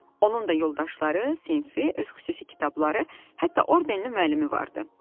Onun da yoldaşları, sinfi, öz xüsusi kitabları, hətta ordenli müəllimi vardı.